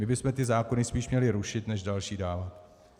My bychom ty zákony spíš měli rušit než další dávat.